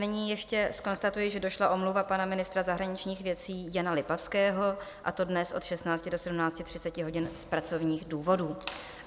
Nyní ještě zkonstatuji, že došla omluva pana ministra zahraničních věcí Jana Lipavského, a to dnes od 16 do 17.30 hodin z pracovních důvodů.